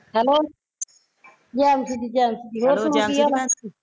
hello ਜੈਨਸੀ ਦੀ ਜੈਨਸੀ ਦੀ ਹੋਰ ਕੀ ਹਾਲ ਆ